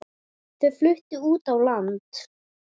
Þau fluttu út á land.